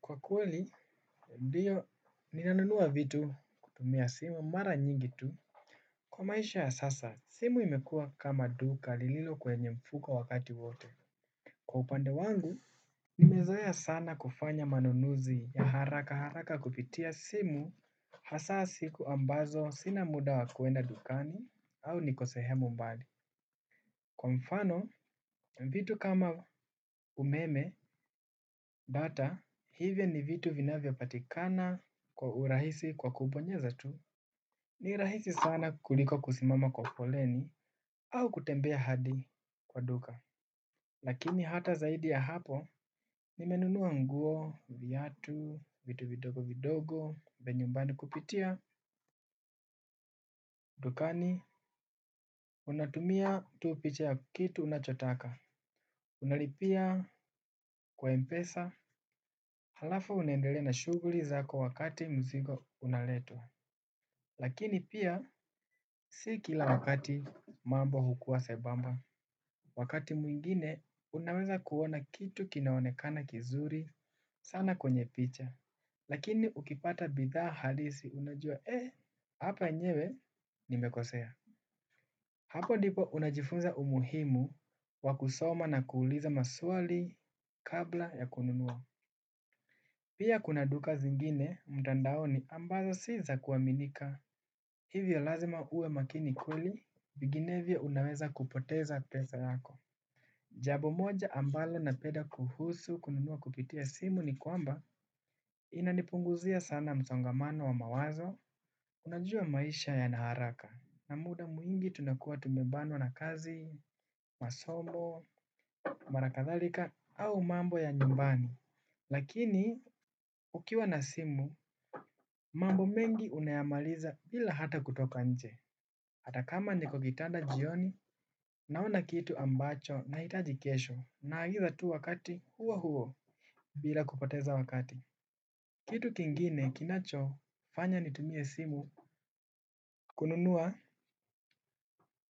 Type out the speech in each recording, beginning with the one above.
Kwa kweli ndiyo ninanunua vitu kutumia simu mara nyingi tu. Kwa maisha ya sasa simu imekua kama duka lililo kwenye mfuko wakati wote. Kwa upande wangu nimezoea sana kufanya manunuzi ya haraka haraka kupitia simu. Hasa siku ambazo sina muda wa kuenda dukani au niko sehemu mbali. Kwa mfano, vitu kama umeme, data, hivyo ni vitu vinavyopatikana kwa urahisi kwa kubonyeza tu. Ni rahisi sana kuliko kusimama kwa foleni au kutembea hadi kwa duka. Lakini hata zaidi ya hapo, nimenunua nguo, viatu, vitu vidogo vidogo, vya nyumbani kupitia, dukani. Unatumia tu picha ya kitu unachotaka. Unalipia kwa mpesa. Halafu unendelea na shughuli zako wakati mzigo unaletwa. Lakini pia si kila wakati mambo hukua sebamba. Wakati mwingine unaweza kuona kitu kinaonekana kizuri sana kwenye picha. Lakini ukipata bidhaa halisi unajua eh hapa enyewe nimekosea. Hapo ndipo unajifunza umuhimu wa kusoma na kuuliza maswali kabla ya kununua. Pia kuna duka zingine, mtandaoni ambazo si za kuaminika. Hivyo lazima uwe makini kweli vinginevyo unaweza kupoteza pesa zako. Jambo moja ambalo napenda kuhusu kununua kupitia simu ni kwamba inanipunguzia sana msongamano wa mawazo. Unajua maisha yana haraka. Na muda mwingi tunakuwa tumebanwa na kazi, masomo, mara kadhalika au mambo ya nyumbani. Lakini ukiwa na simu, mambo mengi unayamaliza bila hata kutoka nje. Hata kama niko kitanda jioni naona kitu ambacho nahitaji kesho. Naagiza tu wakati huo huo bila kupoteza wakati. Kitu kingine kinachofanya nitumie simu kununua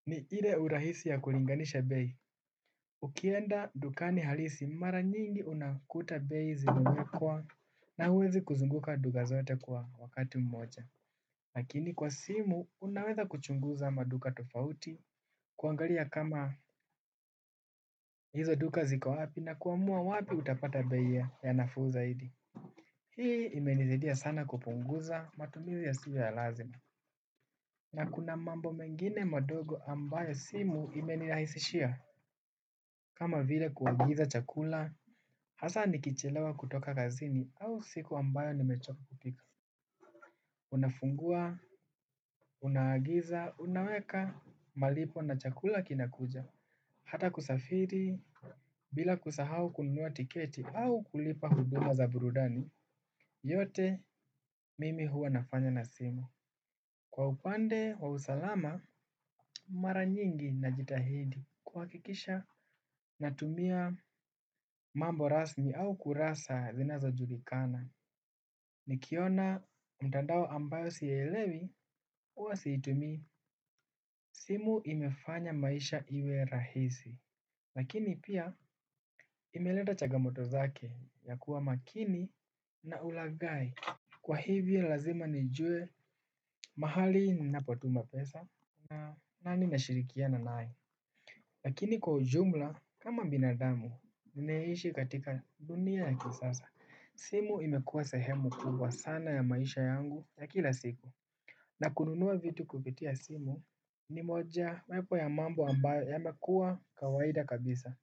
ni ile urahisi ya kulinganisha bei. Ukienda dukani halisi mara nyingi unakuta bei zimewekwa na uwezi kuzunguka duka zote kwa wakati mmoja. Lakini kwa simu unaweza kuchunguza maduka tofauti kuangalia kama hizo duka ziko wapi na kuamua wapi utapata bei ya nafuu zaidi. Hii imenisaidia sana kupunguza matumizi yasio ya lazima. Na kuna mambo mengine madogo ambayo simu imenirahisishia kama bile kuagiza chakula hasa nikichelewa kutoka kazini au siku ambayo nimechoka. Unafungua, unaagiza, unaweka, malipo na chakula kinakuja, hata kusafiri. Bila kusahau kununua tiketi au kulipa huduma za burudani, yote mimi huwa nafanya na simu. Kwa upande wa usalama, mara nyingi najitahidi kuhakikisha natumia mambo rasmi au kurasa zinazojulikana nikiona mtandao ambayo sielewi uwa situmii simu imefanya maisha iwe rahisi. Lakini pia imeleta changamoto zake ya kuwa makini na ulaghai. Kwa hivyo lazima nijue mahali napotuma pesa na nani nashirikiana nae. Lakini kwa ujumla, kama binadamu, nimeishi katika dunia ya kisasa. Simu imekuwa sehemu kubwa sana ya maisha yangu ya kila siku. Na kununua vitu kupitia simu ni mojawepo ya mambo ambayo yamekuwa kawaida kabisa.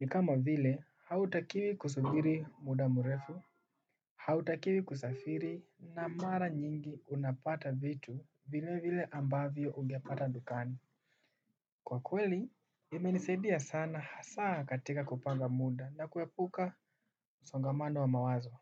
Ni kama vile, hautakiwi kusubiri muda mrefu, hautakiwi kusafiri na mara nyingi unapata vitu vile vile ambayo ungepata dukani. Kwa kweli, imenisaidia sana hasa katika kupanga muda na kuepuka msongamando wa mawazo.